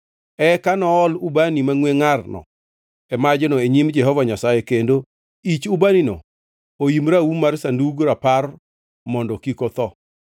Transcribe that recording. Eka nool ubani mangʼwe ngʼarno e majno e nyim Jehova Nyasaye kendo ich ubanino oim raum mar Sandug Rapar mondo kik otho.